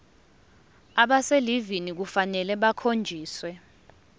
abaselivini kufanele bakhonjiswe